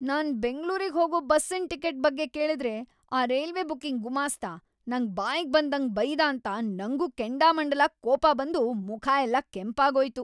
ನಾನ್ ಬೆಂಗ್ಳೂರಿಗ್ ಹೋಗೋ ಬಸ್ಸಿನ್ ಟಿಕೆಟ್ ಬಗ್ಗೆ ಕೇಳಿದ್ರೆ‌ ಆ ರೈಲ್ವೆ ಬುಕಿಂಗ್ ಗುಮಾಸ್ತ ನಂಗ್‌ ಬಾಯಿಗ್‌ ಬಂದಂಗ್‌ ಬೈದಾಂತ ನಂಗೂ ಕೆಂಡಾಮಂಡಲ ಕೋಪ ಬಂದು ಮುಖ ಎಲ್ಲ ಕೆಂಪಾಗೋಯ್ತು.